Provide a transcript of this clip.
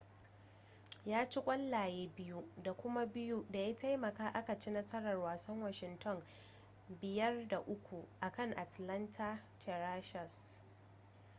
ya ci ƙwallaye 2 da kuma 2 da ya taimaka aka ci a nasarar wasan washington 5-3 akan atlanta thrashers